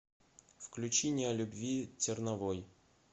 включи не о любви терновой